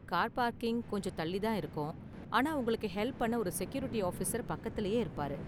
Car parking கொஞ்சம் தள்ளி தான் இருக்கும், ஆனா உங்களுக்கு ஹெல்ப் பண்ண ஒரு செக்யூரிட்டி ஆபிசர் பக்கத்துலயே இருப்பாரு.